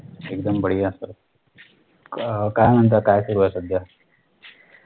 एकदम बढिया sir अह काई म्हणता काई सुरुये सध्या